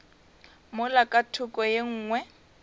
mola ka thoko ye nngwe